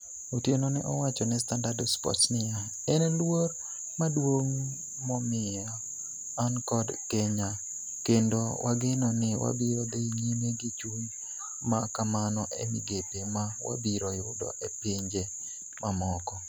Otieno ne owacho ne Standard Sports niya, "En luor maduong' momiya an kod Kenya kendo wageno ni wabiro dhi nyime gi chuny ma kamano e migepe ma wabiro yudo e pinje mamoko".